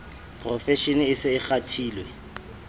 profeshene e se e kgathile